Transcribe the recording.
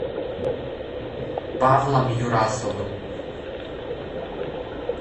павлом юрасовым